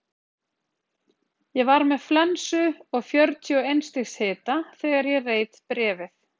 Ég var með flensu og fjörutíu og eins stigs hita þegar ég reit bréfið.